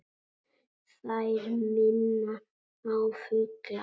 Þær minna á fugla.